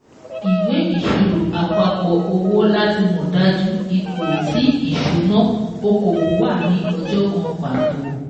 Ìwé ìsirò àpapọ̀ owó láti mọ̀ dájú ipò ti ìṣúnná okòwò wà ni ọjọ́ kan pàtó